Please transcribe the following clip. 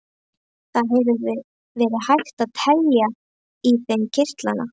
Það hefði verið hægt að telja í þeim kirtlana.